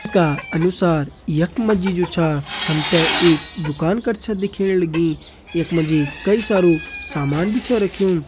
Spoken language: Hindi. का अनुसार यख मा जी जु छा हम ते एक दुकान कर छा दिखेण लगीं यख मा जी कई सारू सामान भी छा रख्युं।